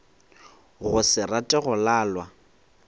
go se rate go lalwa